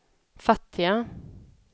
fattiga